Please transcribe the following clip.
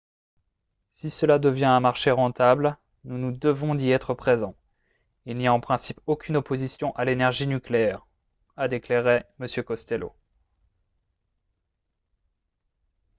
"""si cela devient un marché rentable nous nous devons d'y être présent. il n'y a en principe aucune opposition à l’énergie nucléaire" a déclaré m. costello.